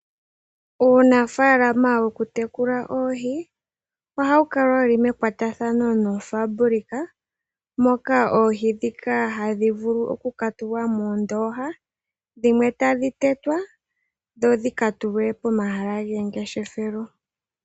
Uunafaalama wokutekula oohi, ohawu kala wuli mekwatathano noofabulika moka oohi ndhika hadhi vulu okukatulwa moondoha, dhimwe tadhi tetwa, dho dhika tulwe pomahala gomangeshefelo.